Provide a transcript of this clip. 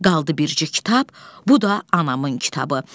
Qaldı birci kitab, bu da anamın kitabı.